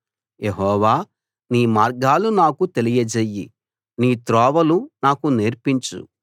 యెహోవా నీ మార్గాలు నాకు తెలియజెయ్యి నీ త్రోవలు నాకు నేర్పించు